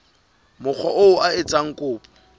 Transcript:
mokga oo a etsang kopo